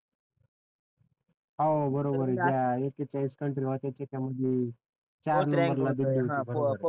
हो बरोबर एककेचाळीस कंट्रीज होत्या त्याच्यामधी